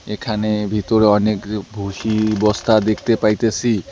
এখানে ভিতরে অনেকরে ভুসি বস্তা দেখতে পাইতেসি।